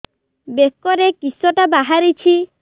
ବେକରେ କିଶଟା ବାହାରିଛି